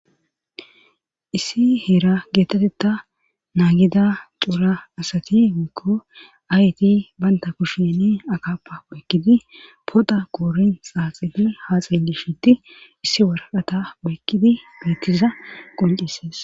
issi hera geetetetta naagida cuura asati mikko ayti baynta kushsheni akapa oykkidi poda koorin saaxili haaxen gishiti issi waraqata oykkidi beettiza qoncisees